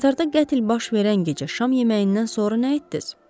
Qatarda qətl baş verən gecə axşam yeməyindən sonra getdiz?